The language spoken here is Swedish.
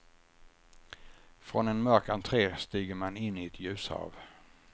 Från en mörk entre stiger man in i ett ljushav.